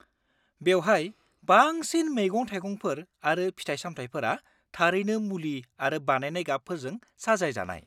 -बेवहाय बांसिन मैगं-थाइगंफोर आरो फिथाइ-सामथाइफोरा थारैनो मुलि आरो बानायनाय गाबफोरजों साजायजानाय।